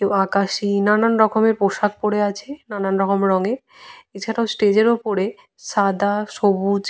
কেউ আকাশি নানানরকমের পোশাক পরে আছে নানানরকম রঙের। এছাড়াও স্টেজ এর ওপরে সাদা সবুজ।